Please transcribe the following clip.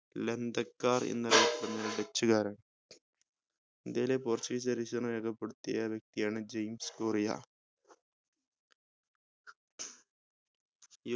ലന്തക്കാർ എന്ന് അറിയപ്പെടുന്നത് dutch കാരാണ് ഇന്ത്യയിലെ portuguese രേഖപ്പെടുത്തിയ ഏക വ്യക്തിയാണ് ജെയിംസ് കൊറിയ